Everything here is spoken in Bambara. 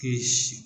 K'i sin